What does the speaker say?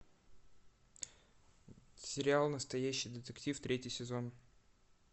сериал настоящий детектив третий сезон